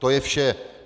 To je vše.